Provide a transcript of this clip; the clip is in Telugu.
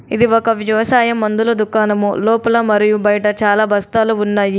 ఇది ఒక వ్యవసాయ మందుల దుకాణము. లోపల మరియు బయట చాలా బస్తాలు ఉన్నాయి.